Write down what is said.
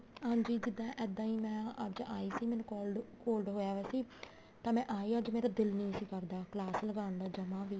ਹਾਂਜੀ ਜਿੱਦਾਂ ਇੱਦਾਂ ਹੀ ਮੈਂ ਅੱਜ ਆਈ ਸੀ ਮੈਨੂੰ cold cold ਹੋਇਆ ਪਿਆ ਸੀ ਤੇ ਮੈਂ ਆਈ ਅੱਜ ਮੇਰਾ ਦਿਲ ਨੀ ਕਰਦਾ class ਲਗਾਉਣ ਦਾ ਜਮਾ ਵੀ